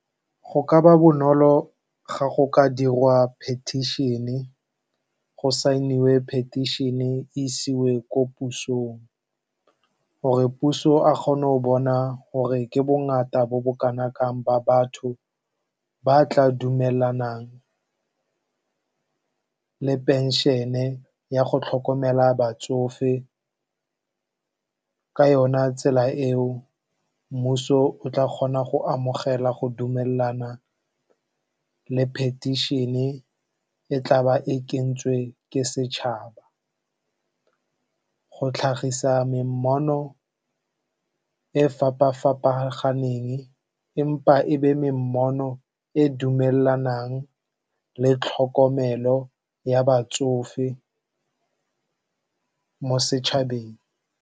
Go ka ba bonolo ga go ka dirwa petition-e, go saeniwe petition-e e isiwe ko pusong. Gore puso a kgone go bona gore ke bongata bo bo kanakang ba batho ba tla dumelanang le phenšhene ya go tlhokomela batsofe ka yona tsela eo. Mmuso o tla kgona go amogela go dumelelana le diphetišene e tla ba e kentswe ke setšhaba. Go tlhagisa me mmono e fapa-fapaganeng empa e be me mmono e dumelanang le tlhokomelo ya batsofe mo setšhabeng.